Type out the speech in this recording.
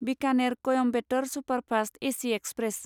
Bikaner Coimbatore superfast AC express